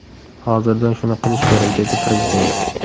Hozirdan shuni qilish kerak”, dedi Prezident.